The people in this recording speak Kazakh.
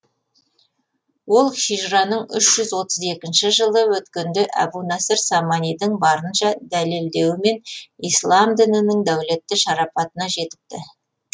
ол хижраның үш отыз екінші жылы өткенде әбунасыр саманидің барынша дәлелдеуімен ислам дінінің дәулетті шарапатына жетіпті